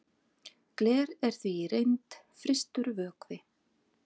gler er því í reynd frystur vökvi